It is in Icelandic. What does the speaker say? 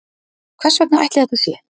hvers vegna ætli þetta sé